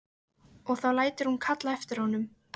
Og þá lætur hún kalla eftir honum.